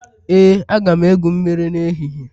Ee, aga m egwu mmiri n'ehihie